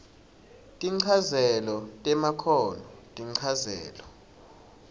tinchazelo temakhono tinchazelo